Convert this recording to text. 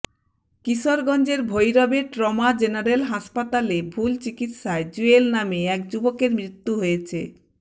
কিশোরগঞ্জের ভৈরবে trauma general হাসপাতালে ভুল চিকিৎসায় জুয়েল নামে এক যুবকের মৃত্যু হয়েছে